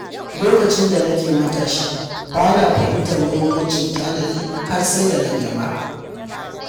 Lokacin da nake matashi, ba na fahimtar muhimmancin tanadi har sai da na girma.